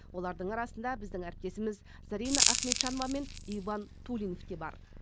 олардың арасында біздің әріптесіміз зарина ахметжанова мен иван тулинов те бар